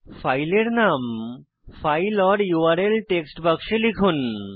ফাইলের নাম file or URL text বাক্সে লিখুন